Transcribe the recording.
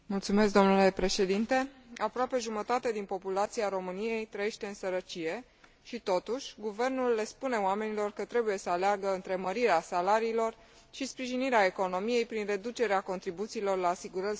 Aproape jumătate din populația României trăiește în sărăcie și, totuși, guvernul le spune oamenilor că trebuie să aleagă între mărirea salariilor și sprijinirea economiei prin reducerea contribuțiilor la asigurări sociale pentru angajatori.